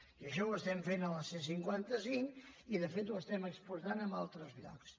i això ho estem fent a la c cinquanta cinc i de fet ho estem exportant a altres llocs